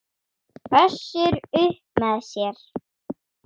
Össur upp með sér.